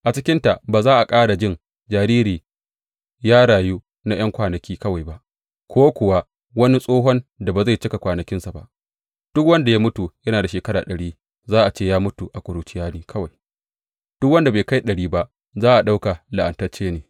A cikinta ba za a ƙara jin jariri ya rayu na ’yan kwanaki kawai ba, ko kuwa wani tsohon da bai cika kwanakinsa ba; duk wanda ya mutu yana da shekaru ɗari za a ce ya mutu a kurciya ne kawai; duk wanda bai kai ɗari ba za a ɗauka la’antacce ne.